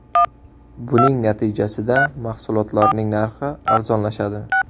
Buning natijasida mahsulotlarning narxi arzonlashadi.